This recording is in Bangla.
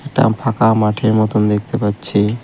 একটা ফাঁকা মাঠের মতন দেখতে পাচ্ছি।